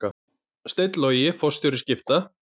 Steinn Logi forstjóri Skipta